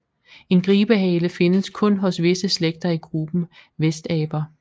En gribehale findes kun hos visse slægter i gruppen vestaber